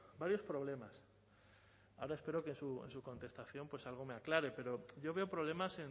varios problemas ahora espero que en su contestación pues algo me aclare pero yo veo problemas